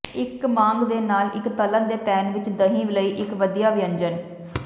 ਇੱਕ ਮਾਂਗ ਦੇ ਨਾਲ ਇੱਕ ਤਲ਼ਣ ਦੇ ਪੈਨ ਵਿੱਚ ਦਹੀਂ ਲਈ ਇੱਕ ਵਧੀਆ ਵਿਅੰਜਨ